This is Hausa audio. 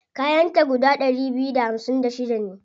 Kayan ta guda ɗari biyu da hamsin da shida ne.